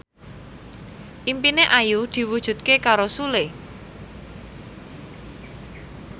impine Ayu diwujudke karo Sule